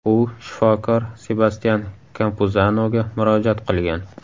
U shifokor Sebastyan Kampuzanoga murojaat qilgan.